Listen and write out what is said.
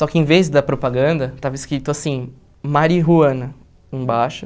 Só que em vez da propaganda, estava escrito assim, Marijuana, embaixo.